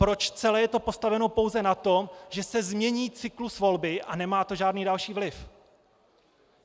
Proč je to celé postaveno pouze na tom, že se změní cyklus volby a nemá to žádný další vliv?